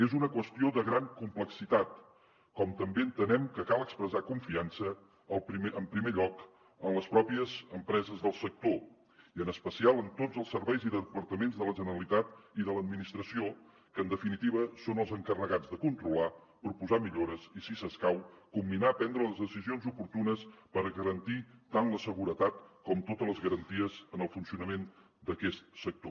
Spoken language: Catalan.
és una qüestió de gran complexitat com també entenem que cal expressar confiança en primer lloc en les pròpies empreses del sector i en especial en tots els serveis i departaments de la generalitat i de l’administració que en definitiva són els encarregats de controlar proposar millores i si escau comminar a prendre les decisions oportunes per garantir tant la seguretat com totes les garanties en el funcionament d’aquest sector